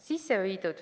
Võin teile öelda.